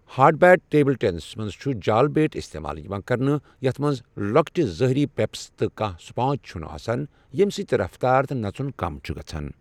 Hard bat table ٹینسَس منٛز چھُ جال بیٹ استعمال یِوان کرنہٕ یَتھ منٛز لۄکٕٹہِ ظٲہری 'پپس' تہٕ کانٛہہ سپانج چھُنہٕ آسان، ییٚمہِ سۭتۍ رفتار تہٕ نژن کم چھ گژھان۔